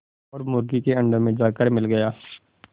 और मुर्गी के अंडों में जाकर मिल गया